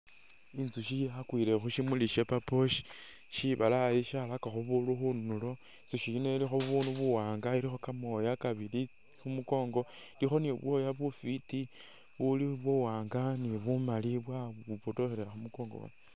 Inzusyi yakwile khu syimuli sya purple sha shibalaayi sharakakho bundu khunulo. Inzusyi yino ilikho bunu buwaanga ilikho kamooya kabili khu mukongo ni bubwooya bufwiti buli buwaanga ni bumali bwayibotokhelela khu mukongo khwayo.